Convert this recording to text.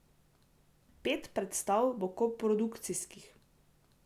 Pet predstav bo koprodukcijskih.